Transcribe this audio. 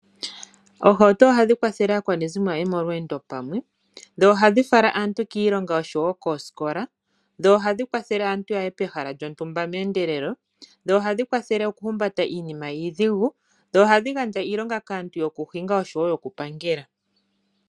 Oohawuto ohadhi kwathele aakwanezimo yaye molweendo pamwe dho ohadhi fala aantu kiilonga nokosikola, dho ohadhi kwathele aantu yaye pehala lyontumba mendelelo dho ohadhi kwathele oku humbata iinima iidhigu dho ohadhi gandja iilonga kaantu yoku hinga noyoku pangela.